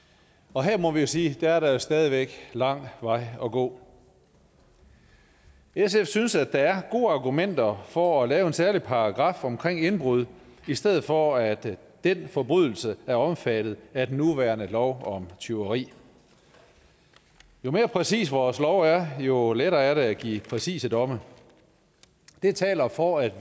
og her må vi jo sige er der stadig væk lang vej at gå sf synes at der er gode argumenter for at lave en særlig paragraf omkring indbrud i stedet for at den forbrydelse er omfattet af den nuværende lov om tyveri jo mere præcise vores love er jo lettere er det at give præcise domme det taler for at